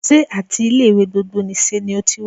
Sé áti ilé ìwé gbogbo nìse ni o ti wá?